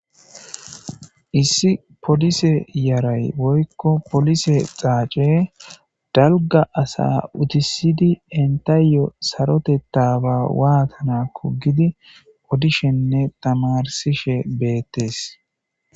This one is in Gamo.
Issi polise yaray woykko polise xaace dalga asa utisidi entayyo sarotetaba waatanakko gidi odishenne tamarsishe beettees.